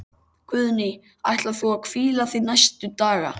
Guðný: Ætlar þú að hvíla þig næstu daga?